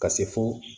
Ka se fo